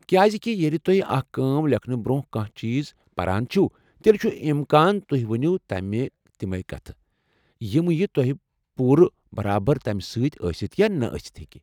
کیازکہ ییٚلہ تو٘ہہِ اكھ كٲم لیکھنہٕ برٛونٛہہ کانٛہہ چیز پران چھو، تیٚلہ چُھ امکان تُہۍ ونِو تِمے كتھہٕ ، یِمہٕ یہِ توہہِ پو٘روٕ ، برابر تمہِ پیٹھ ٲسِتھ یا نہٕ ٲسِتھ ہیكہ ۔